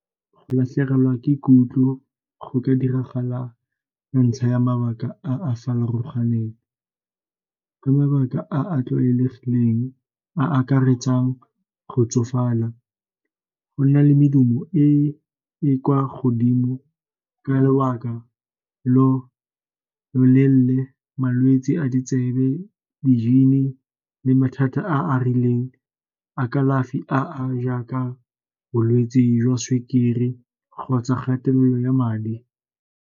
Go latlhegelwa ke kutlo go ka diragala ke ntlha ya mabaka a a farologaneng, ka mabaka a a tlwaelegileng a akaretsang go tsofala, go nna le medumo e e kwa godimo ka lobaka lo lo leele, malwetsi a ditsebe, di-gene-e le mathata a a rileng a kalafi a jaaka bolwetsi jwa sukiri kgotsa kgatelelo ya madi.